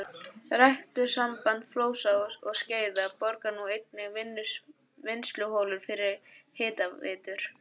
Ræktunarsamband Flóa og Skeiða borar nú einnig vinnsluholur fyrir hitaveitur.